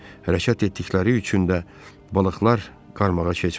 Hərəkət etdikləri üçün də balıqlar qarmağa keçmirdi.